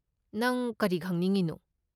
ꯅꯪ ꯀꯔꯤ ꯈꯪꯅꯤꯡꯉꯤꯅꯣ?